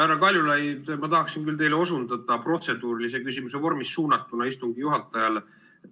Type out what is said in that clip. Härra Kaljulaid, ma tahaksin teile osundada protseduurilise küsimuse vormis suunatuna istungi juhatajale.